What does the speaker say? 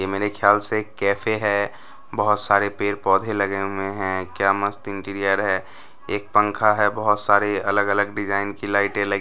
ये मेरे ख्याल से कैफे है बहोत सारे पेड़-पौधे लगे हुए हैं क्या मस्त इंटीरियर है एक पंखा है बहोत सारे अलग-अलग डिजाइन की लाइटे लग --